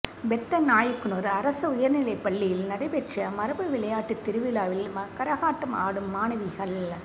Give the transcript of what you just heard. பெத்தநாயக்கனூா் அரசு உயா்நிலைப் பள்ளியில் நடைபெற்ற மரபு விளையாட்டுத் திருவிழாவில் கரகாட்டம் ஆடும் மாணவிகள்